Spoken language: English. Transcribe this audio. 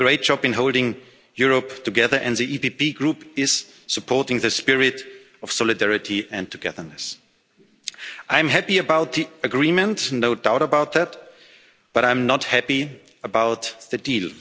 You did a great job in holding Europe together, and the EPP Group supports the spirit of solidarity and togetherness. I'm happy about the agreement no doubt about that but I'm not happy about the deal.